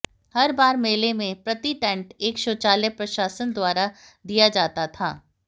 हर बार मेले में प्रति टेंट एक शौचालय प्रशासन द्वारा दिया जाता था